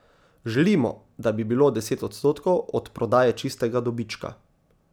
Želimo, da bi bilo deset odstotkov od prodaje čistega dobička.